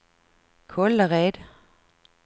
Kållered